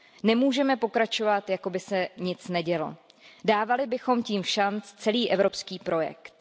Nemůžeme pokračovat, jakoby se nic nedělo, dávali bychom tím všanc celý evropský projekt.